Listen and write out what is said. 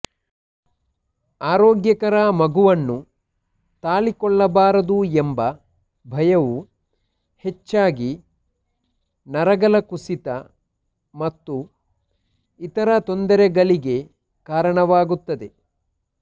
ಆರೋಗ್ಯಕರ ಮಗುವನ್ನು ತಾಳಿಕೊಳ್ಳಬಾರದು ಎಂಬ ಭಯವು ಹೆಚ್ಚಾಗಿ ನರಗಳ ಕುಸಿತ ಮತ್ತು ಇತರ ತೊಂದರೆಗಳಿಗೆ ಕಾರಣವಾಗುತ್ತದೆ